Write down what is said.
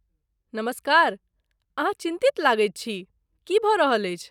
नमस्कार, अहाँ चिन्तित लगैत छी, की भऽ रहल अछि?